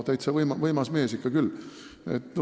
No võimas mees ikka küll!